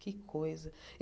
Que coisa!